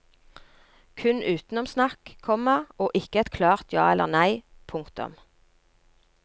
Kun utenomsnakk, komma og ikke et klart ja eller nei. punktum